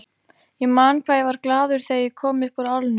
Ég man hvað ég var glaður þegar ég kom upp úr álnum.